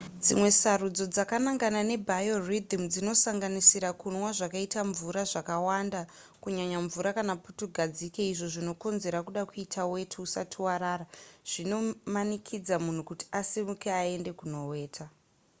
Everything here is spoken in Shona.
dzimwe sarudzo dzakanangana nebiorythym dzinosanganisira kunwa zvakaita mvura zvakawanda kunyanya mvura kana putugadzike izvo zvinokonzera kuda kuita weti usati warara zvinomanikidza munhu kuti asimuke aende kunoweta